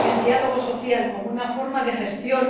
diálogo social como una forma de gestión